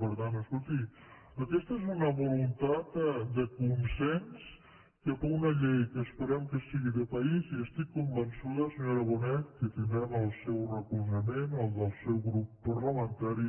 per tant escolti aquesta és una voluntat de consens cap a una llei que esperem que sigui de país i estic convençuda senyora bonet que tindrem el seu recolzament el del seu grup parlamentari